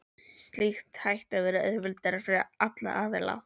Slíkt ætti að vera auðveldara fyrir alla aðila.